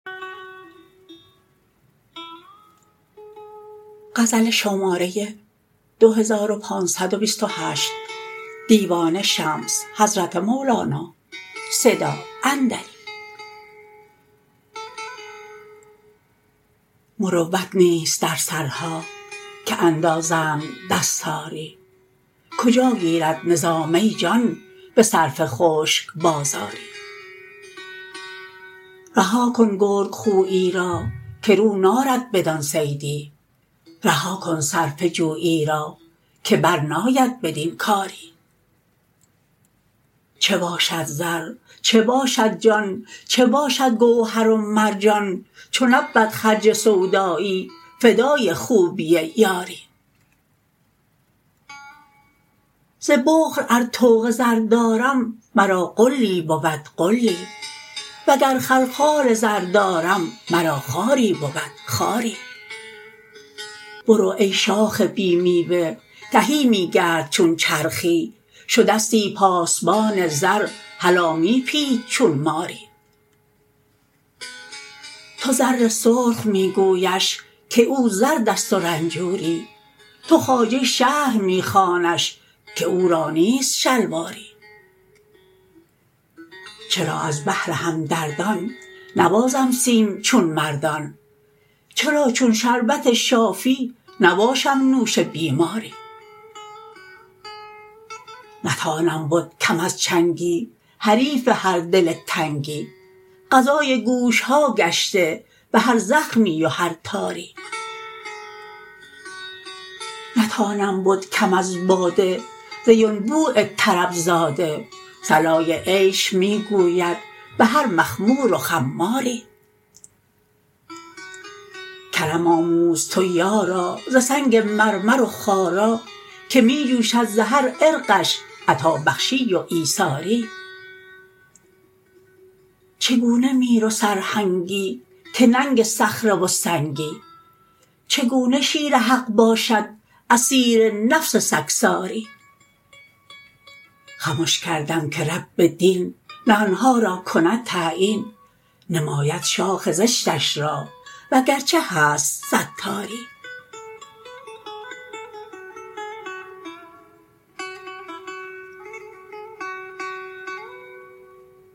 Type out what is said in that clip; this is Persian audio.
مروت نیست در سرها که اندازند دستاری کجا گیرد نظام ای جان به صرفه خشک بازاری رها کن گرگ خونی را که رو نارد بدان صیدی رها کن صرفه جویی را که برناید بدین کاری چه باشد زر چه باشد جان چه باشد گوهر و مرجان چو نبود خرج سودایی فدای خوبی یاری ز بخل ار طوق زر دارم مرا غلی بود غلی وگر خلخال زر دارم مرا خاری بود خاری برو ای شاخ بی میوه تهی می گرد چون چرخی شدستی پاسبان زر هلا می پیچ چون ماری تو زر سرخ می گویش که او زرد است و رنجوری تو خواجه شهر می خوانش که او را نیست شلواری چرا از بهر همدردان نبازم سیم چون مردان چرا چون شربت شافی نباشم نوش بیماری نتانم بد کم از چنگی حریف هر دل تنگی غذای گوش ها گشته به هر زخمی و هر تاری نتانم بد کم از باده ز ینبوع طرب زاده صلای عیش می گوید به هر مخمور و خماری کرم آموز تو یارا ز سنگ مرمر و خارا که می جوشد ز هر عرقش عطابخشی و ایثاری چگونه میر و سرهنگی که ننگ صخره و سنگی چگونه شیر حق باشد اسیر نفس سگساری خمش کردم که رب دین نهان ها را کند تعیین نماید شاخ زشتش را وگرچه هست ستاری